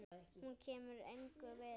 Hún kemur engum við.